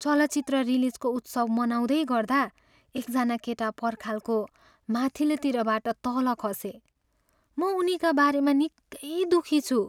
चलचित्र रिलिजको उत्सव मनाउँदै गर्दा एकजना केटा पर्खालको माथिल्तिरबाट तल खसे। म उनीका बारेमा निकै दुःखी छु।